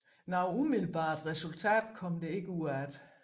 Noget umiddelbart resultat kom der ikke ud deraf